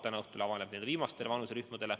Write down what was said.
Täna õhtul avaneb see viimastele vanuserühmadele.